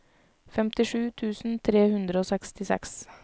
femtisju tusen tre hundre og sekstiseks